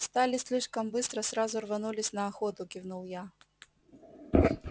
встали слишком быстро сразу рванулись на охоту кивнул я